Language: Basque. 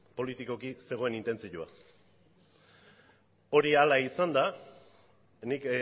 politikoki zegoen intentzioa hori hala izanda nik